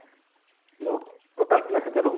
hello total ପିଲା କେତେ ରହୁଛନ